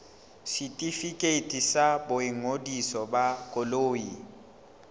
setefikeiti sa boingodiso ba koloi